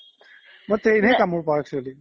মই train হে কামুৰ পাও actually